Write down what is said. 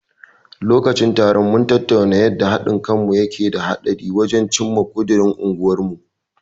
Lokacin taron, mun tattauna yanda haɗin kanmu yake da tasiri wajen cimma ƙudirin unguwarmu.